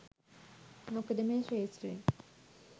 මොකද මේ ක්‍ෂේත්‍රය